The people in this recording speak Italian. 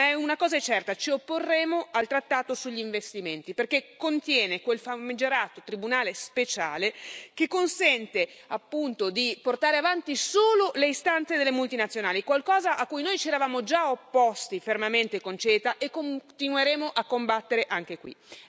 Ma una cosa è certa ci opporremo al trattato sugli investimenti, perché contiene quel famigerato tribunale speciale, che consente appunto di portare avanti solo le istanze delle multinazionali, qualcosa a cui noi ci eravamo già opposti fermamente con il CETA e continueremo a combattere anche qui.